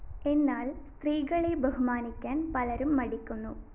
എന്നാല്‍ സ്ത്രീകളെ ബഹുമാനിക്കാന്‍ പലരും മടിക്കുന്നു